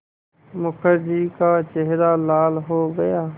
मुखर्जी का चेहरा लाल हो गया